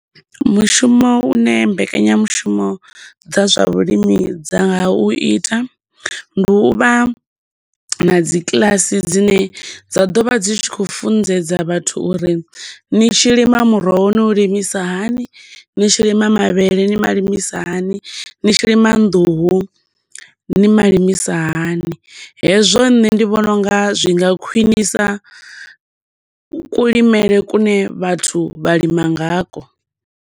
Mushumo une mbekanyamushumo dza zwa vhulimi dza nga u ita ndi uvha na dzikiḽasi dzine dza ḓo vha dzi tshi khou funḓedza vhathu uri ni tshi lima muroho ni u limisa hani, ni tshi lima mavhele ni malimisa hani, ni tshi lima nḓuhu ni malimisa hani. Hezwo nṋe ndi vhona unga zwi nga khwinisa kulimele kune vhathu vha lima nga kwo.